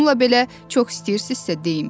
Bununla belə, çox istəyirsinizsə deyin.